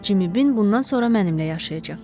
Cimbin bundan sonra mənimlə yaşayacaq.